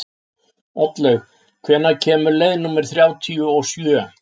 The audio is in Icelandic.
Oddlaug, hvenær kemur leið númer þrjátíu og sjö?